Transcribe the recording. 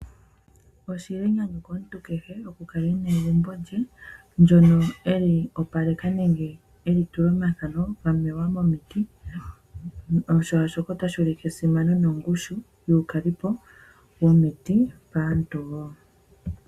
Oshili enyanyu komuntu kehe oku kala ena egumbo lye ndyono eli opaleka nenge eli tula omathano gamewa momiti oshoka otali ulike esimano nongushu yuukalipo womiti kaantu wo.